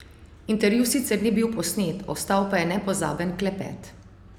Intervju sicer ni bil posnet, ostal pa je nepozaben klepet.